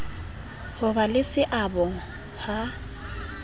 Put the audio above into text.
ho ba le seabo ha